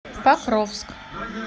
покровск